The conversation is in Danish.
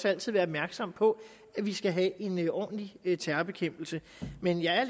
altid være opmærksomme på at vi skal have en ordentlig terrorbekæmpelse men jeg er